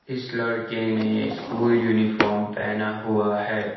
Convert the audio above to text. इस लड़के ने स्कूल यूनिफॉर्म पहना हुआ है।